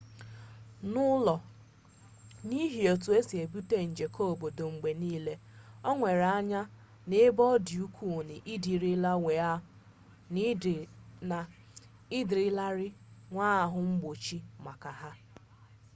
n'ụlọ n'ihi otu e si ebute nje keobodo mgbe niile o were anya n'ebe ọ dị ukwuu na ị dịrịlarị nwee ahụ mgbochi maka ha